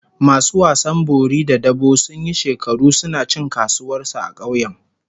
Masu wasan bori da dabo sun yi shekaru suna cin kasuwar su a kauyen